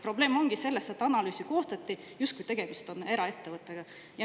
Probleem ongi selles, et analüüs koostati nii, justkui tegemist oleks eraettevõttega.